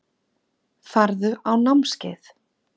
Farðu á námskeið.